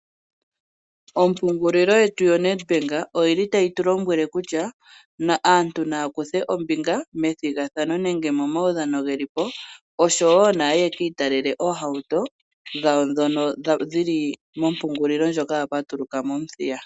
Ompungulilo yetu yoNedbank otayi tu lombwele kutya aantu naya kuthe ombinga methigathano nenge momaudhano ge li po, osho wo naaye ye ki italele oohauto dhawo ndhono dhi li mongalashe ndjoka ya patuluka mOmuthiya.